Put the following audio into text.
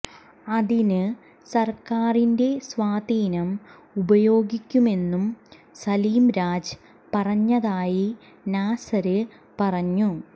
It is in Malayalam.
അതിന് സര്ക്കാരിന്റെ സ്വാധീനം ഉപയോഗിക്കുമെന്നും സലിം രാജ് പറഞ്ഞതായി നാസര് പറഞ്ഞു